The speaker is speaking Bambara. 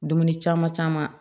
Dumuni caman caman